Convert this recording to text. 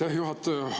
Aitäh, juhataja!